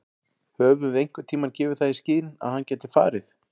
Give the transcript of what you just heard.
Höfum við einhverntímann gefið það í skyn að hann gæti farið?